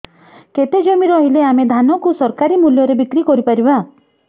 କେତେ ଜମି ରହିଲେ ଆମେ ଧାନ କୁ ସରକାରୀ ମୂଲ୍ଯରେ ବିକ୍ରି କରିପାରିବା